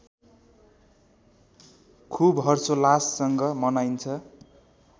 खूब हर्षोल्लाससँग मनाइन्छ